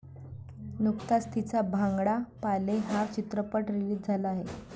नुकताच तिचा भांगडा पा ले हा चित्रपट रिलीज झाला आहे.